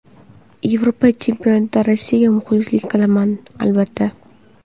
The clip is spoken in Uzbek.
Yevropa Chempionatida Rossiyaga muxlislik qilaman, albatta.